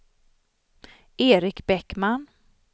Eric Bäckman